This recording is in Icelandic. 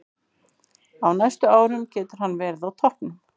Á næstu árum getur hann verið á toppnum.